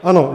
Ano.